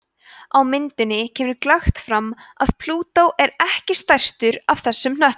á myndinni kemur glöggt fram að plútó er ekki stærstur af þessum hnöttum